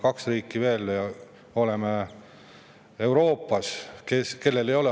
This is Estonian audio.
Kaks riiki on Euroopas veel.